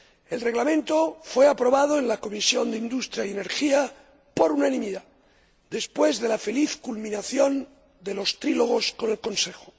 El Reglamento fue aprobado en la Comisión de Industria, Investigación y Energía por unanimidad, después de la feliz culminación de los trílogos con el Consejo.